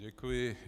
Děkuji.